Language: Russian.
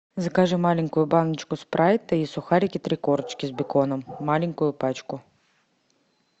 закажи маленькую баночку спрайта и сухарики три корочки с беконом маленькую пачку